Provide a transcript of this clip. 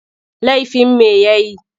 Laifin me ya yi?